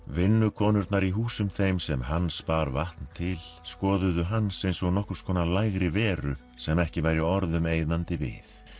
vinnukonurnar í húsum þeim sem Hans bar vatn til skoðuðu Hans eins og nokkurs konar lægri veru sem ekki væri orðum eyðandi við